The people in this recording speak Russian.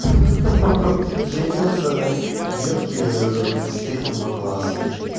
ха-ха женился на девке с третьего класса